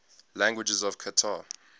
languages of qatar